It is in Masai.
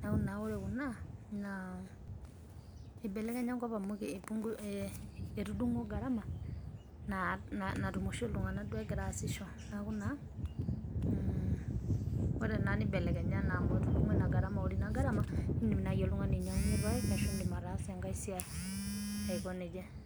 naaku naa ore kunaa naa eibelekenya enkop amu etudung'o gharama natumo oshi ltungana duo egira aashisho naaku naa neibelekenya naa amu etudung'o ina gharama ore ina gharama nindim naa ltungani ainyang'unye lpaek ashu ataasie engae siai aikoneja.